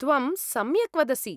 त्वं सम्यक् वदसि।